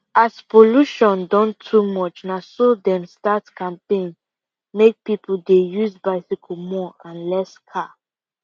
as pollution don too much naso dem start campaign make people dey use bicycle more and less car